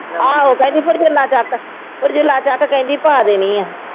ਆਹੋ ਕਹਿੰਦੀ ਫਿਰ ਚੱਕ ਫਿਰ ਚੱਕ ਕਹਿੰਦੀ ਪਾ ਦੇਣੀ ਹੈ।